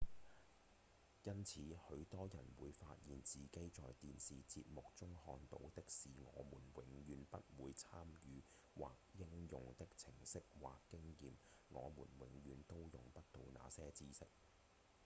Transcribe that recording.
因此許多人會發現自己在電視節目中看到的是我們永遠都不會參與或應用的程序或經驗我們永遠都用不到那些知識